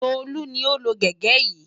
Tolú ni ó lo gègé yìí.